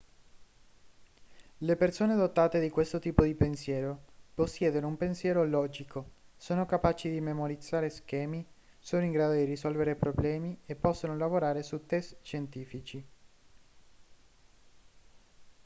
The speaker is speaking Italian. le persone dotate di questo tipo di pensiero possiedono un pensiero logico sono capaci di memorizzare schemi sono in grado di risolvere problemi e possono lavorare su test scientifici